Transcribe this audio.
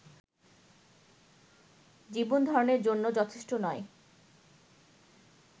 জীবনধারণের জন্য যথেষ্ট নয়